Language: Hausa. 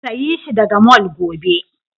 Sayi shi daga mall gobe!